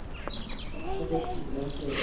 Þakka þér kærlega fyrir.